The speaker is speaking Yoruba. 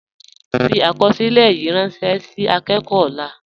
Fi akọsilẹ̀ yìí rànṣẹ ni akọkọ ọlà.